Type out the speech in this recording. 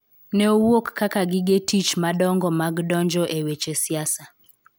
Ne owuok kaka gige tich madongo mag donjo e weche siasa.